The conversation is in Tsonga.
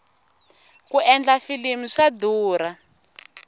ku endla filimi swa durha